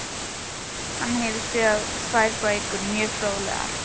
Hann hefur skrifað tvær bækur, mjög fróðlegar.